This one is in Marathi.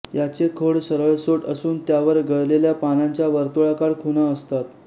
याचे खोड सरळसोट असून त्यावर गळलेल्या पानांच्या वर्तुळाकार खुणा असतात